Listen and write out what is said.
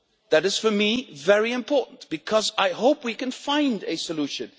That is, in my opinion, very important because I hope we can find a solution.